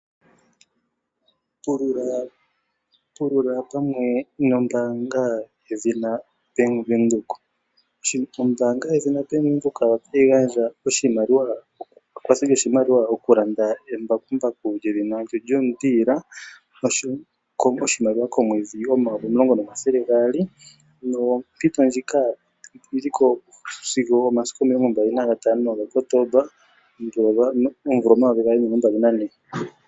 Pulula pamwe nombaanga yedhina bank Windhoek. Ombaanga ndjino otayi gandja ekwatho lyoshimaliwa shokulanda embakumbaku lyedhina John Deere oshowo oshimaliwa shoondola N$ 10 200 komwedhi. Ompito ndjino oyiliko osigo omasiku 25 Kotomba 2024.